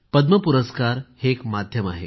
पद्म पुरस्कार हे एक माध्यम आहे